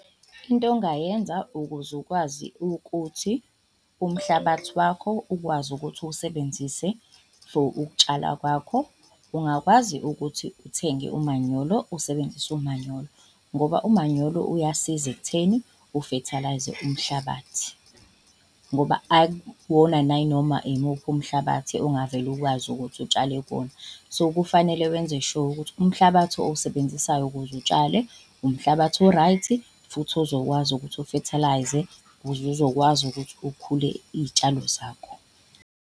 Into ongayenza ukuze ukwazi ukuthi umhlabathi wakho ukwazi ukuthi uwusebenzise for ukutshala kwakho, ungakwazi ukuthi uthenge umanyolo usebenzise umanyolo ngoba umanyolo uyasiza ekutheni ufethalayize umhlabathi. Ngoba akuwona nayinoma imuphi umhlabathi ongavele ukwazi ukuthi utshale kuwona. So, kufanele wenze sure ukuthi umhlabathi owusebenzisayo ukuze utshale, umhlabathi o-right futhi ozokwazi ukuthi ufethalayize uzokwazi ukuthi ukhule iy'tshalo zakho.